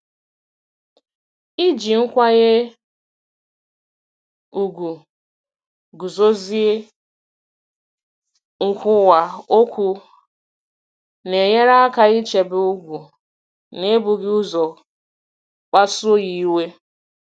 Iji nkwanye ùgwù guzozie nkwuwa okwu na-enyere aka ichebe ugwu n'ebughị ụzọ kpasuo ya iwe.